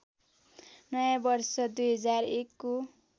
नयाँ वर्ष २०१ को